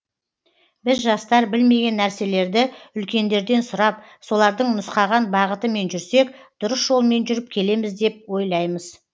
біз жастар білмеген нәрселерді үлкендерден сұрап солардың нұсқаған бағытымен жүрсек дұрыс жолмен жүріп келеміз деп ойлаймыз